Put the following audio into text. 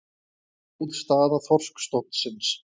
Góð staða þorskstofnsins